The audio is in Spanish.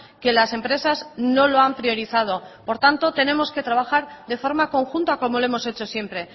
que las empresas no lo han priorizado por tanto tenemos que trabajar de forma conjunta como lo hemos hecho siempre